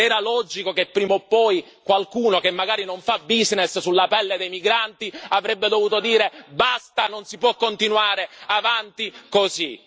Era logico che prima o poi qualcuno, che magari non fa business sulla pelle dei migranti avrebbe dovuto dire basta non si può continuare avanti così!